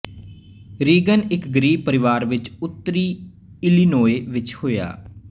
Reagan ਇੱਕ ਗਰੀਬ ਪਰਿਵਾਰ ਵਿੱਚ ਉੱਤਰੀ ਇਲੀਨੋਏ ਵਿੱਚ ਹੋਇਆ